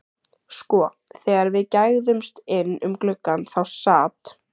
Sko, þegar við gægðumst inn um gluggann þá sat